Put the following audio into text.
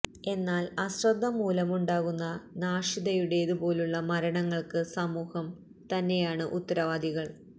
എന്നാല് അശ്രദ്ധ മൂലമുണ്ടാകുന്ന നാഷിദയുടേത് പോലുള്ള മരണങ്ങള്ക്ക് സമൂഹം തന്നെയാണ് ഉത്തരവാദികള്